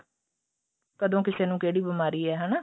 ਕਦੋਂ ਕਿਸੇ ਨੂੰ ਕਿਹੜੀ ਬੀਮਾਰੀ ਏ ਹਨਾ